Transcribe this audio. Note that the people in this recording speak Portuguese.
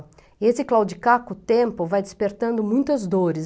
E esse claudicar com o tempo vai despertando muitas dores.